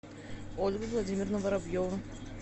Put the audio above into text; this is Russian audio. ольга владимировна воробьева